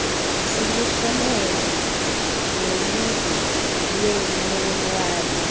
siluhlomele noludwe lweenewadi